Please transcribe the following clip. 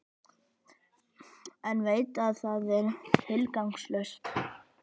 En veit að það er tilgangslaust.